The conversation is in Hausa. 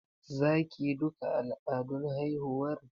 Za ki yi duka al'adun haihuwar?